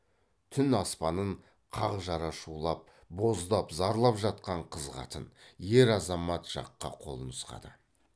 түн аспанын қақ жара шулап боздап зарлап жатқан қыз қатын ер азамат жаққа қол нұсқады